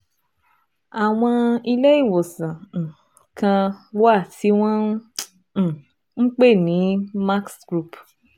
Àwọn ilé ìwòsàn um kan wà tí wọ́n um ń pè ní Max Group